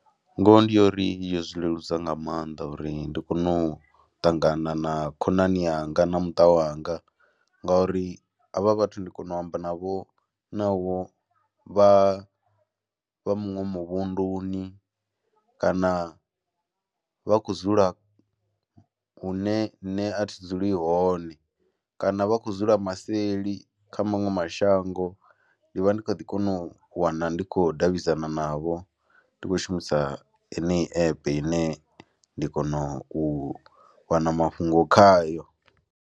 Ngoho ndi yo uri yo zwi leludza nga maanḓa uri ndi kone u ṱangana na khonani yanga na muṱa wanga ngauri havha vhathu ndi kone u amba navho navho vha vha muṅwe muvhunduni kana vha khou dzula hune nṋe a thi dzuli hone kana vha khou dzula maseli kha maṅwe mashango, ndi vha ndi kha ḓi kona u wana ndi khou davhidzana navho, ndi khou shumisa henei app ine nda kona u wana mafhungo khayo.